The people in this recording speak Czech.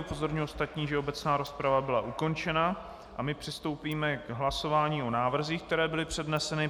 Upozorňuji ostatní, že obecná rozprava byla ukončena a my přistoupíme k hlasování o návrzích, které byly předneseny.